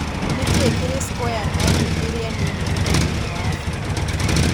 Nĩ kĩĩ kĩrĩ square mile iria nini mũno thĩinĩ wa Afrika